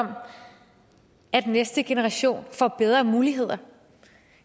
om at næste generation får bedre muligheder